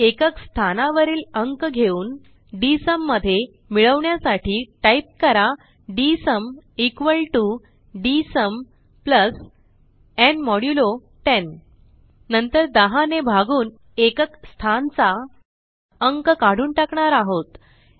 एकक स्थानावरील अंक घेऊन डीएसयूम मध्ये मिळवण्यासाठी टाईप करा डीएसयूम डीएसयूम न् मोड्युलो 10 नंतर 10 ने भागून एकक स्थानचा अंक काढून टाकणार आहोत